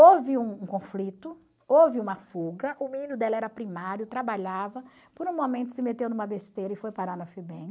Houve um conflito, houve uma fuga, o menino dela era primário, trabalhava, por um momento se meteu numa besteira e foi parar na FEBEM.